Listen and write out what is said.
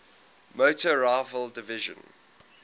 motor rifle division